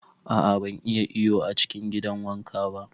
A'a ban iya iyo a cikin gidan wanka ba.